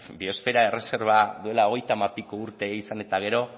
biosfera erreserba duela hogeitamapiko urte izan eta gero